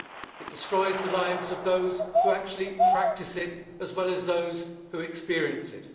it destroys the lives of those who actually practice it, as well as those who experience it.